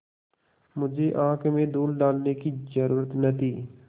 मुझे आँख में धूल डालने की जरुरत न थी